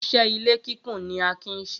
Iṣẹ́ ilé kíkùn ni Akin ń ṣe